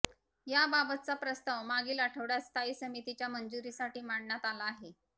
याबाबतचा प्रस्ताव मागील आठवड्यात स्थायी समितीच्या मंजुरीसाठी मांडण्यात आला आहे